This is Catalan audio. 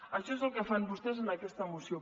això és el que fan vostès en aquesta moció